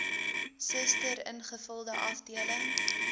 suster ingevulde afdeling